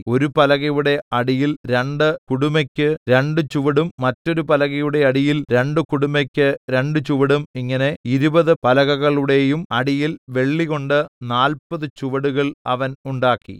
ഒരു പലകയുടെ അടിയിൽ രണ്ട് കുടുമെക്കു രണ്ട് ചുവടും മറ്റൊരു പലകയുടെ അടിയിൽ രണ്ടു കുടുമെക്കു രണ്ട് ചുവടും ഇങ്ങനെ ഇരുപത് പലകകളുടെയും അടിയിൽ വെള്ളികൊണ്ട് നാല്പത് ചുവടുകൾ അവൻ ഉണ്ടാക്കി